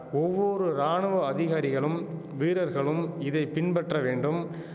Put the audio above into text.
ஒவ்வொரு ராணுவ அதிகாரிகளும் வீரர்களும் இதை பின்பற்ற வேண்டும்